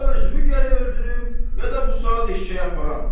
Ya özümü gərək öldürüm, ya da bu saat eşşəyi aparam.